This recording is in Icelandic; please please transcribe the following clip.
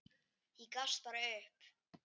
Ég gafst bara upp.